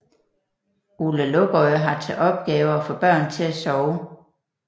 Ole Lukøje har til opgave at få børn til at sove